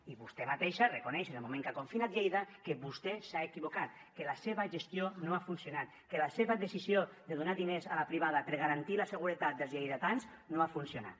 i vostè mateixa reconeix en el moment que ha confinat lleida que vostè s’ha equivocat que la seva gestió no ha funcionat que la seva decisió de donar diners a la privada per garantir la seguretat dels lleidatans no ha funcionat